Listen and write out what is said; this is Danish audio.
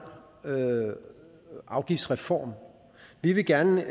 afgiftsreform vi vil gerne